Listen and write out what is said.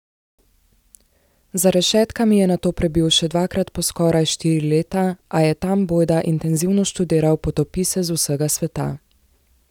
Za rešetkami je nato prebil še dvakrat po skoraj štiri leta, a je tam bojda intenzivno študiral potopise z vsega sveta.